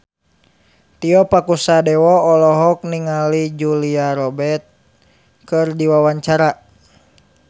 Tio Pakusadewo olohok ningali Julia Robert keur diwawancara